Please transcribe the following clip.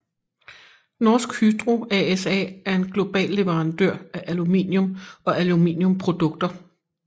Norsk Hydro ASA er en global leverandør af aluminium og aluminiumprodukter